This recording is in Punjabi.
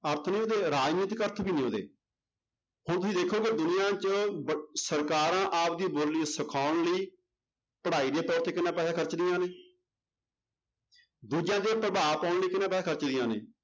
ਅਰਥ ਨੇ ਉਹਦੇ ਰਾਜਨੀਤਿਕ ਅਰਥ ਵੀ ਨੇ ਉਹਦੇ, ਹੁਣ ਤੁਸੀਂ ਦੇਖੋ ਕਿ ਦੁਨੀਆਂ 'ਚ ਵ~ ਸਰਕਾਰਾਂ ਆਪਦੀ ਬੋਲੀ ਸਿਖਾਉਣ ਲਈ ਪੜ੍ਹਾਈ ਦੇ ਤੌਰ ਤੇ ਕਿੰਨਾ ਪੈਸਾ ਖ਼ਰਚਦੀਆਂ ਨੇ ਦੂਜਿਆਂ ਤੇ ਉਹ ਪ੍ਰਭਾਵ ਪਾਉਣ ਲਈ ਕਿੰਨਾ ਪੈਸਾ ਖ਼ਰਚਦੀਆਂ ਨੇ